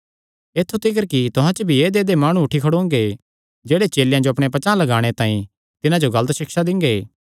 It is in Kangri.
ऐत्थु तिकर तुहां च भी ऐदेयऐदेय माणु उठी खड़ोंगे जेह्ड़े चेलेयां जो अपणे पचांह़ लगाणे तांई तिन्हां जो गलत सिक्षा दिंगे